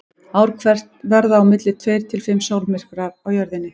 Ár hvert verða á milli tveir til fimm sólmyrkvar á Jörðinni.